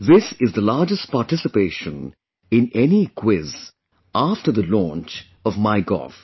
This is the largest participation in any quiz after the launch of MyGov